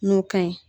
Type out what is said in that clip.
N'o ka ɲi